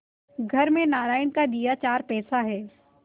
घर में नारायण का दिया चार पैसा है